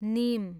निम